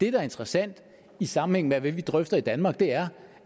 er interessant i sammenhæng med hvad vi drøfter i danmark er